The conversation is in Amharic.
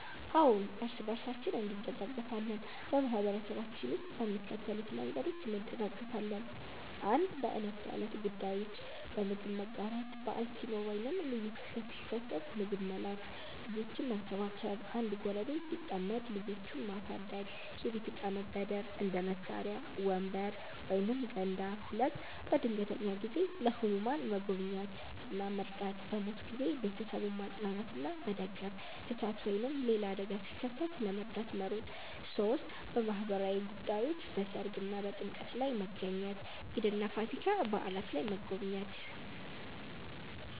አዎን፣ እርስ በርሳችን እንደጋገፋለን በማህበረሰባችን ውስጥ በሚከተሉት መንገዶች እንደጋገፋለን፦ 1. በዕለት ተዕለት ጉዳዮች · በምግብ መጋራት – በዓል ሲኖር ወይም ልዩ ክስተት ሲከሰት ምግብ መላክ · ልጆችን መንከባከብ – አንድ ጎረቤት ሲጠመድ ልጆቹን ማሳደግ · የቤት እቃ መበደር – እንደ መሳሪያ፣ ወንበር ወይም ገንዳ 2. በድንገተኛ ጊዜ · ለህሙማን መጎብኘት እና መርዳት · በሞት ጊዜ ቤተሰቡን ማጽናናትና መደገፍ · እሳት ወይም ሌላ አደጋ ሲከሰት ለመርዳት መሮጥ 3. በማህበራዊ ጉዳዮች · በሠርግ እና በጥምቀት ላይ መገኘት · ኢድ እና ፋሲካ በዓላት ላይ መጎብኘት